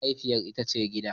Mahaifiya ita ce gida.